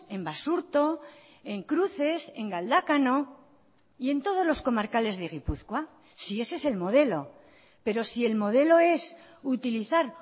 en basurto en cruces en galdakao y en todos los comarcales de gipuzkoa si ese es el modelo pero si el modelo es utilizar